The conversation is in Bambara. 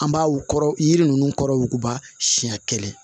An b'a w kɔrɔ jiri ninnu kɔrɔ wuguba siyɛn kelen